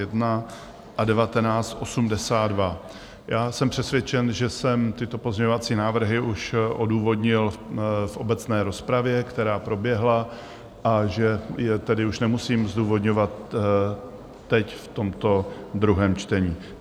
Já jsem přesvědčen, že jsem tyto pozměňovací návrhy už odůvodnil v obecné rozpravě, která proběhla, a že je tedy už nemusím zdůvodňovat teď v tomto druhém čtení.